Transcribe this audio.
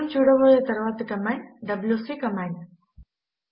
మనము చూడబోయే తరువాతి కమాండ్ డబ్యూసీ కమాండ్